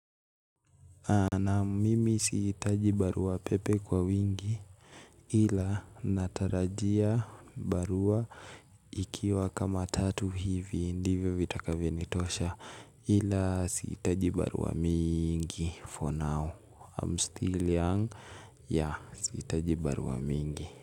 Na mimi sihitaji barua pepe kwa wingi ila natarajia barua ikiwa kama tatu hivi ndivyo vitakavyonitosha ila sihitaji barua mingi for now. I'm still young. Ya sihitaji barua mingi.